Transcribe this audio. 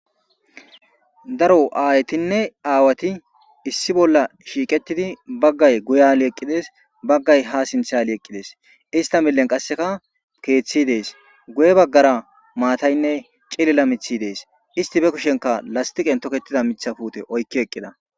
Daro aayetinne aawati issi bolla shiiqettidi baggay guyale eqqides baggay ha sinthe ali eqqides. Ista millen qasseka keeththi dees guye baggara maataynne cilila mithi dees, isti be kushenka lastiqen tokettida mitha puute oykki eqqida.